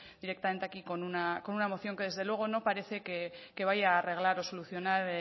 directamente aquí con una moción que desde luego no parece que vaya a arreglar o solucionar